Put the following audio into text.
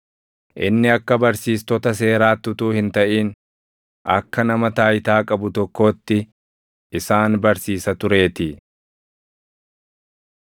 inni akka barsiistota seeraatti utuu hin taʼin, akka nama taayitaa qabu tokkootti isaan barsiisa tureetii.